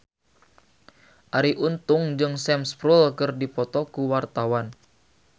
Arie Untung jeung Sam Spruell keur dipoto ku wartawan